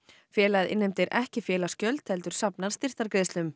félagið innheimtir ekki félagsgjöld heldur safnar